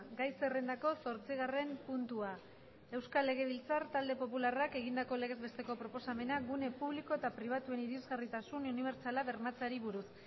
gai zerrendako zortzigarren puntua euskal legebiltzar talde popularrak egindako legez besteko proposamena gune publiko eta pribatuen irisgarritasun unibertsala bermatzeari buruz